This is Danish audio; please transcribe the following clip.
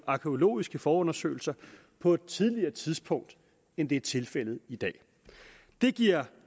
arkæologiske forundersøgelser på et tidligere tidspunkt end det er tilfældet i dag det giver